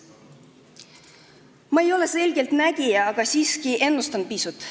Ma ei ole selgeltnägija, aga siiski ennustan pisut.